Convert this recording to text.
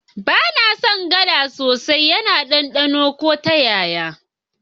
Ba na son gala sosai, yana ɗanɗano ko ta yaya.